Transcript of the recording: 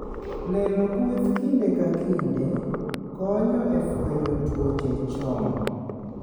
Neno kweth kinde ka kinde, konyo e fwenyo tuoche chon.